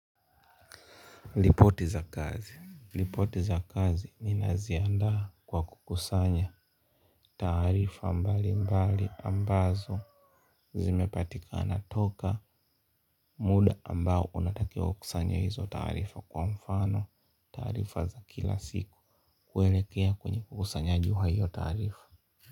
Ripoti za kazi, ripoti za kazi ninaziandaa kwa kukusanya taarifa mbalimbali ambazo zimepatikana toka muda ambao unatakiwa ukusanye hizo taarifa, kwa mfano taarifa za kila siku, kuelekea kwenye kukusanya juu ya hizo taarifa.